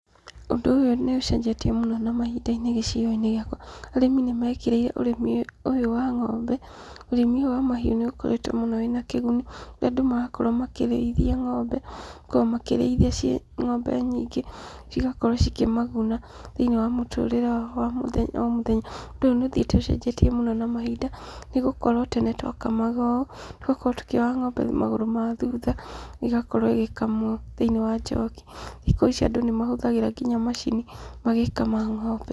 Ũndũ ũyũ nĩ ũcenjetie mũno na mahinda-inĩ gĩcigo-inĩ gĩakwa, arĩmi nĩ mekĩrĩire ũrĩmi ũyũ wa ng'ombe, ũrĩmi ũyũ wa mahiũ nĩ ũkoretwo mũno wĩna kĩguni, rĩrĩa andũ marakorwo makĩrĩithia ng'ombe, makoragwo makĩrĩithia ciĩ ng'ombe nyingĩ, cigakorwo cikĩ maguna thĩinĩ wa mũtũrĩre wao wa o mũthenya o mũthenya, ũndũ ũyũ nĩ ũthiĩte ũcenjetie mũno na mahinda, nĩgũkorwo tene twakamaga ũũ, tũgakorwo tũkĩoha ng'ombe magũrũ ma thutha, igakorwo ĩgĩkamwo thĩinĩ wa njoki, thikũ ici andũ nĩ mahũthagĩra nginya macini magĩkama ng'ombe.